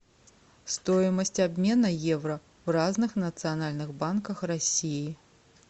стоимость обмена евро в разных национальных банках россии